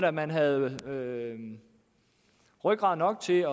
at man havde rygrad nok til